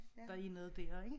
Der er noget dér ikke